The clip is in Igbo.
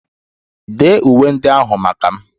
Dee uwe ndị ahụ maka m!